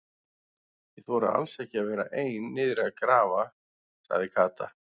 Ég þori alls ekki að vera ein niðri að grafa sagði Kata.